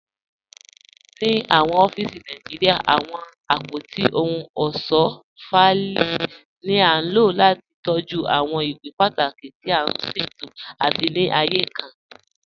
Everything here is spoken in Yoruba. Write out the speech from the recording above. Ní awọn ọ̀fíìsì Nàìjíríà, awọn apótí òhùn ọṣọ́ fáìlì ni a ló láti tọjú awọn ìwé pátàkí tì a ṣẹtò àti ní ààyè kàn.